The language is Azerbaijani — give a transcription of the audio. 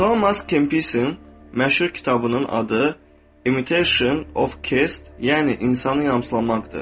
Thomas Kempis'in məşhur kitabının adı Imitation of Christ, yəni insanı yamsılamaqdır.